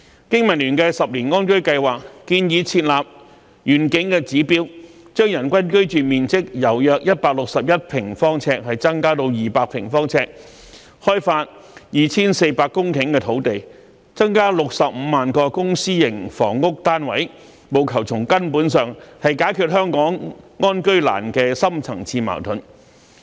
經民聯的十年安居計劃，建議設立願景的指標，將人均居住面積由約161平方呎增加至200平方呎，開發 2,400 公頃的土地，增加65萬個公私營房屋單位，務求從根本上解決香港安居難的深層次矛盾。